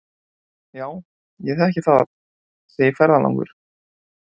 Já, ég þekki það, segir ferðalangur.